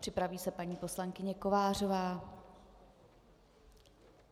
Připraví se paní poslankyně Kovářová.